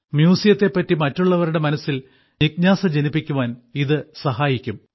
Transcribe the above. മ്യൂസിയത്തെ പറ്റി മറ്റുള്ളവരുടെ മനസ്സിൽ ജിജ്ഞാസ ജനിപ്പിക്കുവാൻ ഇതു സഹായിക്കും